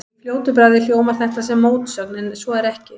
Í fljótu bragði hljómar þetta sem mótsögn en svo er ekki.